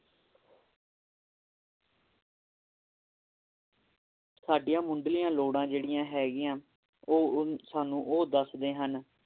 ਸਾਡੀਆਂ ਮੁਢਲੀਆਂ ਲੋੜਾਂ ਜਿਹੜੀਆਂ ਹੇਗੀਆਂ ਉਹ ਉਹ ਸਾਨੂ ਉਹ ਦਸਦੇ ਹਨ